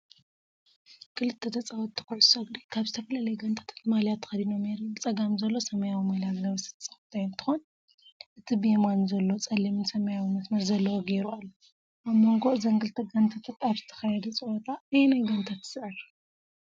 ክልተ ተጻወትቲ ኩዕሶ እግሪ ካብ ዝተፈላለያ ጋንታታት ማልያ ተኸዲኖም የርኢ። ብጸጋም ዘሎ ሰማያዊ ማልያ ዝለበሰ ተጻዋታይ እንትኮን እቲ ብየማን ዘሎ ጸሊምን ሰማያውን መስመር ዘለዎ ገይሩ ኣሎ። ኣብ መንጎ እዘን ክልተ ጋንታታት ኣብ ዝተኻየደ ጸወታ ኣየነይቲ ጋንታ ትስዕር?